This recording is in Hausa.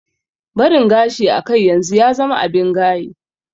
Barin gashi a kai yanzu ya zama abin gaye